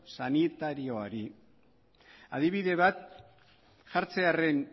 sanitarioari adibide bat jartzearren